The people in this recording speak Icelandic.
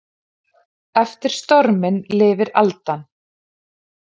Eftir storminn lifir aldan.